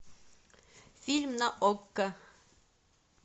фильм на окко